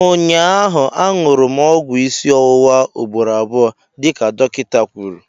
Ụnyaahụ, añụrụ m ọgwụ isi ọwụwa ugboro abụọ dịka dọkịta kwuru